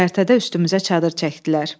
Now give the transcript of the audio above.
Göyərtədə üstümüzə çadır çəkdilər.